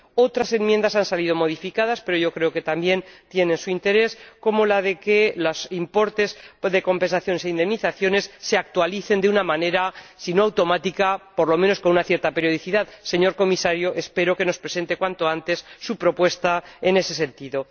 Otras enmiendas han sido modificadas pero creo que también tienen su interés, como que los importes de compensaciones e indemnizaciones se actualicen, si no automáticamente, por lo menos con cierta periodicidad. Señor Comisario, espero que nos presente cuanto antes su propuesta en ese sentido.